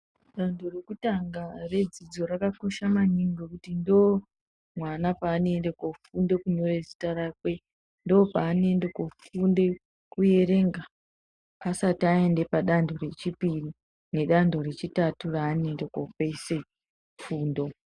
Danho rekutanga redzidzo rakakosha maningi ngekuti ndomwana peanoende kofunda kunyora zita rakwe. Ndopaanoende kofunde kuerenga, asati aende padanho rechipiri nedanho rechitatu reanoende kopedzise fundo.